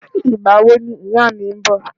Ìgbà wo ni ìyá mi ń bọ̀?